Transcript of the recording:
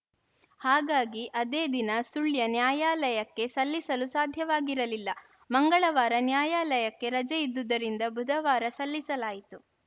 ಹಾಗಾಗಿ ಅದೇ ದಿನ ಸುಳ್ಯ ನ್ಯಾಯಾಲಯಕ್ಕೆ ಸಲ್ಲಿಸಲು ಸಾಧ್ಯವಾಗಿರಲಿಲ್ಲ ಮಂಗಳವಾರ ನ್ಯಾಯಾಲಯಕ್ಕೆ ರಜೆ ಇದ್ದುದರಿಂದ ಬುಧವಾರ ಸಲ್ಲಿಸಲಾಯಿತು